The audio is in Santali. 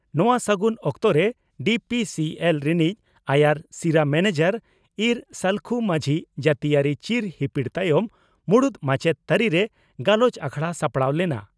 ᱱᱚᱣᱟ ᱥᱟᱹᱜᱩᱱ ᱚᱠᱛᱚᱨᱮ ᱰᱤᱹᱯᱤᱹᱥᱤᱹᱮᱞᱹ ᱨᱮᱱᱤᱡ ᱟᱭᱟᱨ ᱥᱤᱨᱟᱹ ᱢᱮᱱᱮᱡᱚᱨ ᱤᱸᱨ ᱥᱟᱹᱞᱠᱷᱩ ᱢᱟᱹᱡᱷᱤ ᱡᱟᱹᱛᱤᱭᱟᱹᱨᱤ ᱪᱤᱨ ᱦᱤᱯᱤᱲ ᱛᱟᱭᱚᱢ ᱢᱩᱬᱩᱛ ᱢᱟᱪᱮᱛ ᱛᱟᱹᱨᱤᱨᱮ ᱜᱟᱞᱚᱪ ᱟᱠᱷᱲᱟ ᱥᱟᱯᱲᱟᱣ ᱞᱮᱱᱟ ᱾